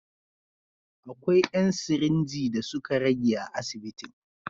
Akwai ‘yan sirinji da suka rage a asibitin.